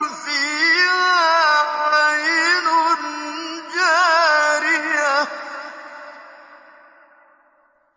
فِيهَا عَيْنٌ جَارِيَةٌ